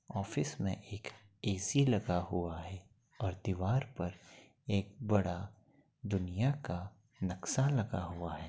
Office में एक AC लगा हुआ है और दीवार पर एक बड़ा दुनिया का नक्शा लगा हुआ है।